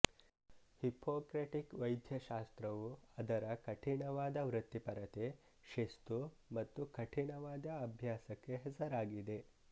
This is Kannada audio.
ಹಿಪೊಕ್ರೆಟಿಕ್ ವೈದ್ಯಶಾಸ್ತ್ರವು ಅದರ ಕಠಿಣವಾದ ವೃತ್ತಿಪರತೆ ಶಿಸ್ತು ಹಾಗು ಕಠಿಣವಾದ ಅಭ್ಯಾಸಕ್ಕೆ ಹೆಸರಾಗಿದೆ